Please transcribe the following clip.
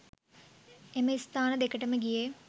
එම ස්ථාන දෙකටම ගියේ.